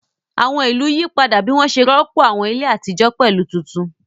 Àwọn ìlú yí padà bí wọ́n ṣe rọ́pò àwọn ilé àtijọ́ pẹ̀lú àwọn tuntun.